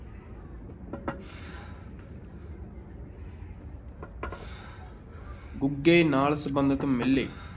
ਗੁੱਗੇ ਨਾਲ ਸੰਬੰਧਿਤ ਮੇਲੇ,